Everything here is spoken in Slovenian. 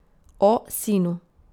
O sinu.